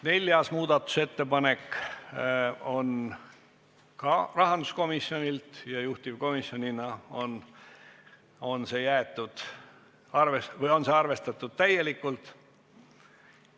Neljaski muudatusettepanek on rahanduskomisjonilt ja juhtivkomisjon on seda arvestanud täielikult.